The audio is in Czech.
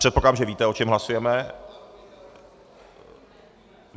Předpokládám, že víte, o čem hlasujeme.